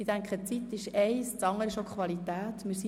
Die Zeit ist das eine, die Qualität das andere.